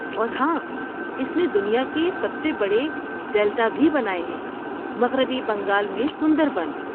اور ہاں، اس نے دنیا کے سب سے بڑے ڈیلٹا بھی بنائے ہیں مغربی بنگال میں سندربن